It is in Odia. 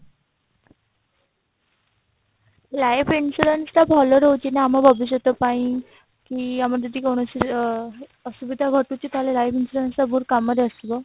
life insurance ଟା ଭଲ ରହୁଛି ନା ଆମ ଭବିଷ୍ୟତ ପାଇଁ କି ଆମର ଯଦି କୌଣସି ଅ ଅସୁବିଧା ଘଟୁଛି ତାହେଲେ ଲାଇଫ insurance ଟା କାମରେ ଆସିବ